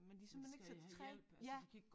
Men de simpelthen ikke så træ ja